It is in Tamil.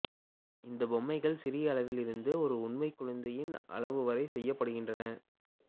இந்த பொம்மைகள் சிறிய அளவில் இருந்து ஒரு உண்மைக் குழந்தையின் அளவுவரை செய்யப்படுகின்றன